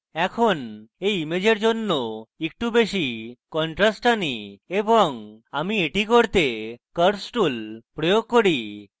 এখন এই ইমেজের জন্য একটু বেশী contrast আনি এবং আমি এটি করতে curves tool প্রয়োগ করি